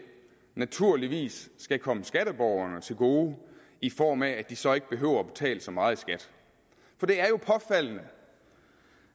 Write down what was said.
naturligvis skal komme skatteborgerne til gode i form af at de så ikke behøver at betale så meget i skat for det er jo påfaldende